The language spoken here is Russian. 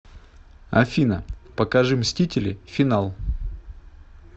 афина покажи мстители финал